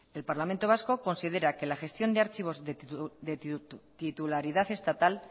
el parlamento vasco considera que la gestión de archivos de titularidad estatal